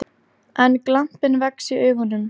En glampinn vex í augunum.